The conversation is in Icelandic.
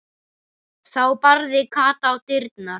Þá barði Kata á dyrnar.